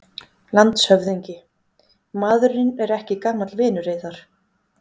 LANDSHÖFÐINGI: Maðurinn er ekki gamall vinur yðar?